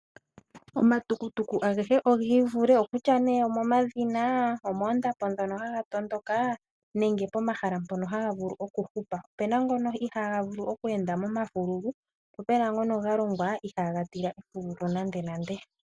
Omatukutuku agehe ogi ivule okutya nduno omomadhina, omoondapo ndhono haga tondoka nenge pomahala ngono haga vulu oku hupa, opuna ngono ihaaga vulu okweenda momafululu po puna ngono ga longwa ihaaga tila efululu nandenande.